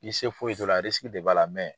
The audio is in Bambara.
I se foyi t'o la de b'a la